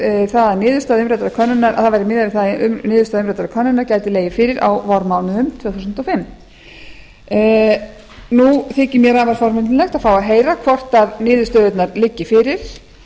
við það að niðurstaða umræddrar könnunar gæti legið fyrir á vormánuðum tvö þúsund og fimm nú þykir mér afar forvitnilegt að fá að heyra hvort niðurstöðurnar liggi fyrir